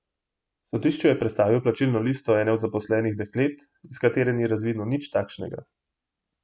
Sodišču je predstavil plačilno listo ene od zaposlenih deklet, iz katere ni razvidno nič takšnega.